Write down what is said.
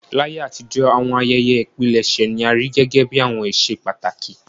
Láyé àtijọ́, àwọn ayẹyẹ ìpilẹ̀ṣẹ̀ ni a rí gẹ́gẹ́ bí àwọn íṣe pàtàkì.